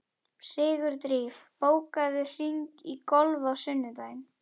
Sigurdríf, bókaðu hring í golf á sunnudaginn.